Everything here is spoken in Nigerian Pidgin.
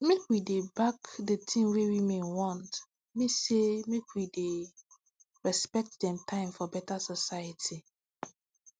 make we dey back d tin wey women want mean say make we dey respect dem time for beta society